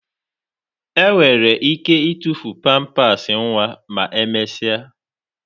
Enwere ike ịtụfu pampasị nwa ma emesịa